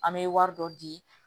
An bɛ wari dɔ di